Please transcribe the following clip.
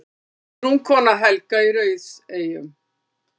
Guðrún, kona Helga í Rauðseyjum.